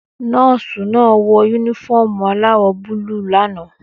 Nọ́ọ́sì náà wọ únífọ̀omù aláwò búlù l'ana